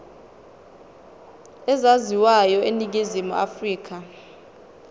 ezaziwayo eningizimu afrika